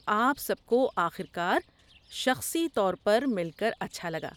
آپ سب کو آخر کار شخصی طور پر مل کر اچھا لگا۔